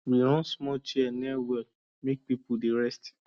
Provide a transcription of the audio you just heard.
we run small chair near well make people dey rest